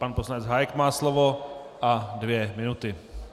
Pan poslanec Hájek má slovo a dvě minuty.